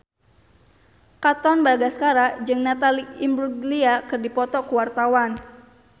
Katon Bagaskara jeung Natalie Imbruglia keur dipoto ku wartawan